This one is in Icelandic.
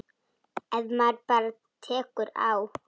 Ef maður bara tekur á.